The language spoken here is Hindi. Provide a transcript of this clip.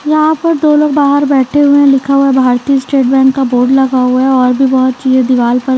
यहाँ पर दो लोग बाहर बैठे हुए हैं लिखा हुआ है भारतीय स्टेट बैंक का बोर्ड लगा हुआ हैऔर भी बहुत चीजें दीवाल पर--